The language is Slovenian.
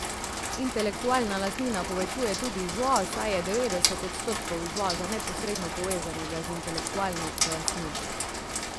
Intelektualna lastnina povečuje tudi izvoz, saj je devetdeset odstotkov izvoza neposredno povezanega z intelektualno lastnino.